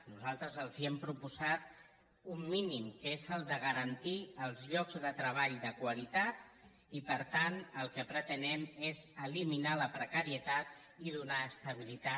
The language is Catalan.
nosaltres els hem proposat un mínim que és el de garantir els llocs de treball de qualitat i per tant el que pretenem és eliminar la precarietat i donar estabilitat